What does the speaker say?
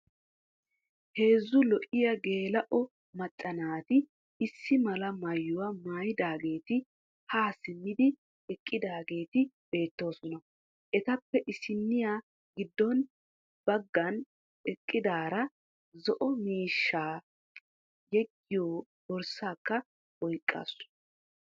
Heezzu lo"iya geela"o macca naati issi mala maayuwa maayidaageeti haa simmidi eqqidaageeti beettoosona. Etappe issinniya giddon baggan eqqidaara zo"o miishshaa yeggiyoo borssaakka oyqqasu.